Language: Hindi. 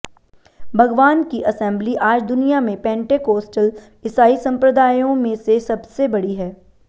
भगवान की असेंबली आज दुनिया में पेंटेकोस्टल ईसाई संप्रदायों में से सबसे बड़ी है